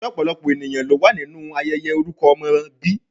Se opolopo eniyan lo wa ninu ayeye oruko omo bi?